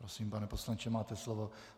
Prosím, pane poslanče, máte slovo.